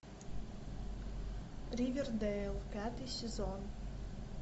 ривердейл пятый сезон